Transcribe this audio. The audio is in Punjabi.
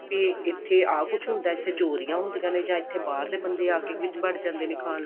ਵੀ ਇੱਥੇ ਆ ਕੁੱਛ ਹੁੰਦਾ ਇੱਥੇ ਚੋਰੀਆਂ ਹੁੰਦੀਆਂ ਨੇ ਜਾਂ ਇੱਥੇ ਬਾਹਰ ਦੇ ਬੰਦੇ ਆਕੇ ਵਿੱਚ ਵੜ ਜਾਂਦੇ ਨੇ ਖਾਣ ਨੂੰ